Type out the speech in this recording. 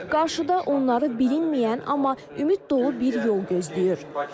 Qarşıda onları bilinməyən, amma ümid dolu bir yol gözləyir.